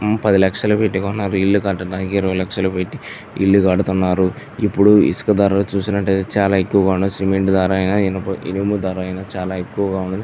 పది లక్షలు పెట్టి కొన్నది ఇల్లు కట్టడానికి ఇరువై లక్షలు పెట్టి ఇల్లు కడతాయారు ఇప్పుడు ఇసుక ధరలు చూస్తుంటే చాలా ఎక్కువగా ఉన్నాయ్ సిమెంట్ ధర ఇనుప ధరలు ఐన చాల ఎక్కువగా --